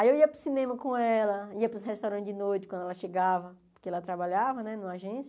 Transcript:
Aí eu ia para o cinema com ela, ia para os restaurantes de noite quando ela chegava, porque ela trabalhava, né, numa agência.